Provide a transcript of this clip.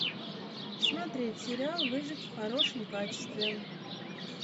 смотреть сериал выжить в хорошем качестве